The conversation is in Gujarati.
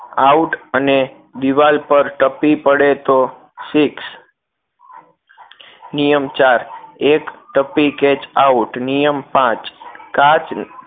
Out અને દીવાલ પર ટપ્પી પડે તો six નિયમ ચાર એક ટપ્પી catch out નિયમ પાંચ કાચ